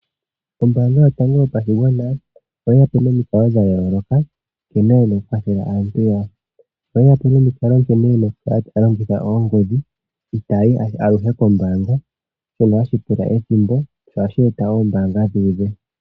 Ombaanga yotango yopashigwana oyeyapo nomikalo dha yooloka nkene yena okukwathela aantu yawo. Oyeyapo nomikalo nkene yena okukala taya longitha oongodhi ita yayi aluhe koombaanga shono hashi pula ethimbo aho ohashi eta woo oombanga dhu udhe.